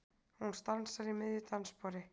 Hún stansar í miðju dansspori.